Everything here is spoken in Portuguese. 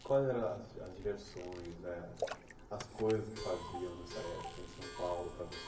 Quais eram as as diversões eh as coisas que faziam nessa época em São Paulo para você?